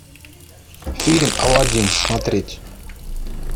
фильм алладин смотреть